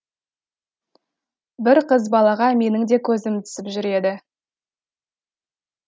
бір қыз балаға менің де көзім түсіп жүр еді